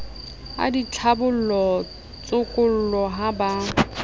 a ditlhabollo tshokollo ha ba